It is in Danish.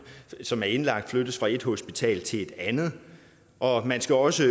som er indlagt flyttes fra et hospital til et andet og man skal også